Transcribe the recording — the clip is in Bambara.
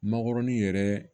Makɔrɔni yɛrɛ